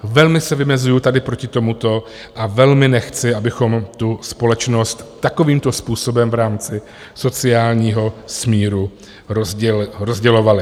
Velmi se vymezuji tady proti tomuto a velmi nechci, abychom tu společnost takovýmto způsobem v rámci sociálního smíru rozdělovali.